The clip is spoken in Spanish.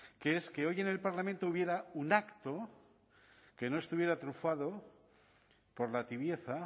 que es que hoy en el parlamento hubiera un acto que no estuviera trufado por la tibieza